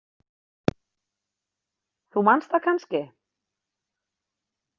Þú manst það kannski?